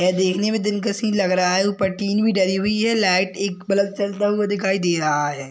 ये देखने में दिलकश ही लग रहा है ऊपर टिन भी डली हुई है लाइट एक बल्ब जलता हुआ दिखाई दे रहा है।